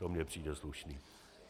To mi přijde slušné.